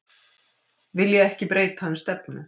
Vilja ekki breyta um stefnu